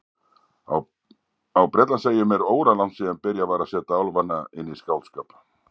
Á Bretlandseyjum er óralangt síðan byrjað var að setja álfana inn í skáldskap.